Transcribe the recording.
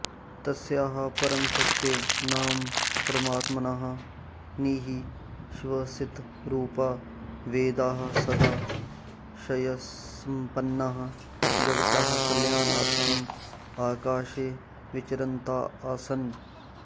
तस्याः परमशक्तेः नाम परमात्मनः निः श्वसितरुपाः वेदाः सदाशयसम्पन्नाः जगतः कल्याणार्थम् आकाशे विचरन्तः आसन्